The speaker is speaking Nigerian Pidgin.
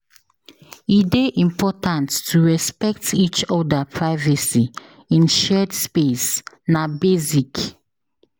E dey important to respect each oda privacy in shared space; na basic.